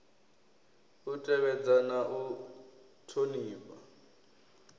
u tevhedza na u thonifha